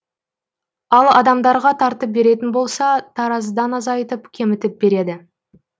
ал адамдарға тартып беретін болса таразыдан азайтып кемітіп береді